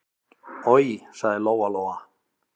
Oj, sagði Lóa-Lóa.